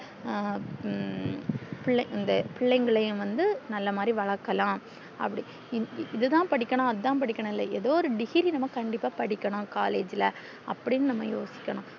ஹம் பிள்ளை இந்த பிள்ளைங்களையும் வந்து நல்ல மாதிரி வழக்கலாம் அப்டி இது தான் படிக்கணும் அது தான் படிக்கணும் இல்ல ஏதோ ஒரு degree நம்ம கண்டிப்பா படிக்கணும் collage ல்ல அப்டின்னு நம்ம யோசிக்கணும்